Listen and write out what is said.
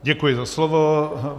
Děkuji za slovo.